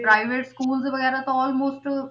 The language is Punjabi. Private schools ਵਗ਼ੈਰਾ ਤਾਂ almost